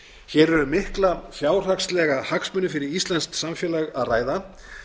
hér er um mikla fjárhagslega hagsmuni fyrir íslenskt samfélag að ræða